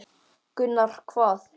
Gunnar: Hvað?